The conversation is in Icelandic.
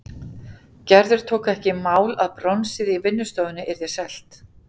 Gerður tók ekki í mál að bronsið í vinnustofunni yrði selt.